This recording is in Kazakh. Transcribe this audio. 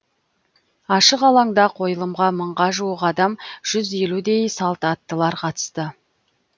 ашық алаңда қойылымға мыңға жуық адам жүз елудей салт аттылар қатысты